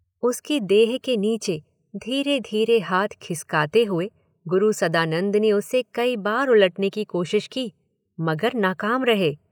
उसकी देह के नीचे धीरे धीरे हाथ खिसकाते हुए गुरु सदानंद ने उसे कई बार उलटने की कोशिश की, मगर नाकाम रहे।